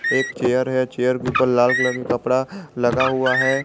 एक चेयर हैं चेयर के ऊपर लाल कलर का कपड़ा लगा हुआ हैं।